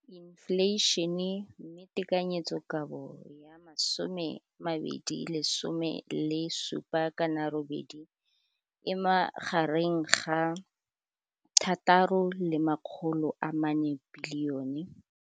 Infleišene, mme tekanyetsokabo ya 2017 le 2018 e magareng ga R6.4 bilione.